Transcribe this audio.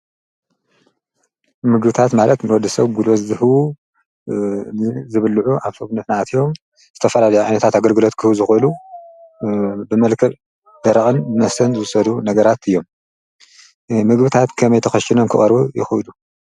ምግብታት ማለት ንወድሰብ ጉልበት ዝህቡ ዝብልዑ አብ ሰውነትና አትዮም ዝተፈላለዩ ዓይነት አገልግሎት ክህቡ ዝክእል ብመልክዕ ደረቅን መስተን ዝውሰዱ ነገራት እዮም ። ምግብታት ከመይ ትከሽኖም ክቀርቡ ይክእሉ?